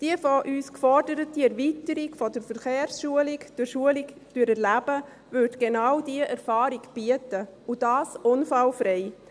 Die von uns geforderte Erweiterung der Verkehrsschulung durch «Schulung durch Erleben» würde genau diese Erfahrung bieten, und das unfallfrei.